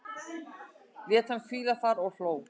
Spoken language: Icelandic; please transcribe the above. Lét hana hvíla þar og hló.